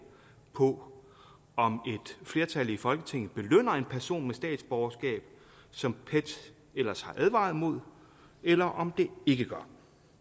på om et flertal i folketinget belønner en person med statsborgerskab som pet ellers har advaret imod eller om det ikke gør